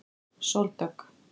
Sóldögg